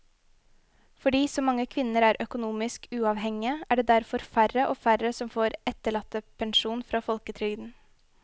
Fordi så mange kvinner er økonomisk uavhengige er det derfor færre og færre som får etterlattepensjon fra folketrygden.